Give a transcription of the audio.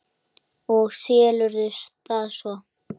Og selurðu það svo?